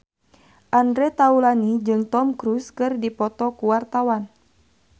Andre Taulany jeung Tom Cruise keur dipoto ku wartawan